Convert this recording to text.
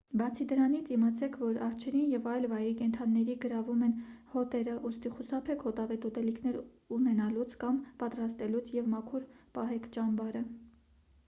բացի դրանից իմացեք որ արջերին և այլ վայրի կենդանիների գրավում են հոտերը ուստի խուսափեք հոտավետ ուտելիքներ ունենալուց կամ պատրաստելուց և մաքուր պահեք ճամբարը